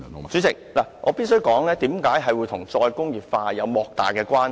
主席，我必須指出這與"再工業化"有莫大關係。